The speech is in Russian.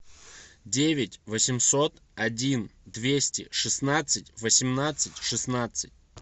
девять восемьсот один двести шестнадцать восемнадцать шестнадцать